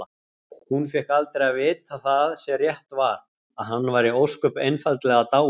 Hún fékk aldrei að vita það sem rétt var: að hann væri ósköp einfaldlega dáinn.